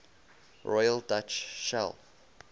royal dutch shell